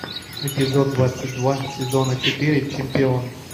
эпизод двадцать два сезона четыре чемпион